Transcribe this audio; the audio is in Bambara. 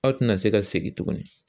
Aw tɛna se ka segin tuguni